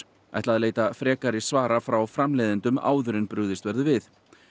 ætla að leita frekari svara frá framleiðendum áður en brugðist verður við